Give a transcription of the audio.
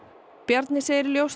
Bjarni segir ljóst